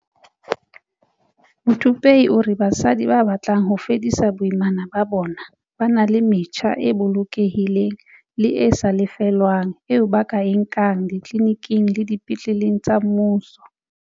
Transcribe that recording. Muthupei o re basadi ba batlang ho fedisa boimana ba bona ba na le metjha e bolokehileng le e sa lefellweng eo ba ka e nkang ditliliniking le dipetleleng tsa mmuso.